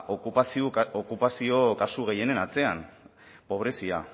okupazio kasu gehienen atzean pobrezia